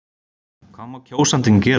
Hvað má kjósandinn gera?